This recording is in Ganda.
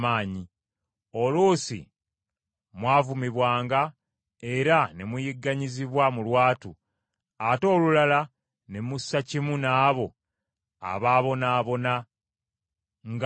Oluusi mwavumibwanga era ne muyigganyizibwa mu lwatu, ate olulala ne mussa kimu n’abo abaabonaabona nga mmwe.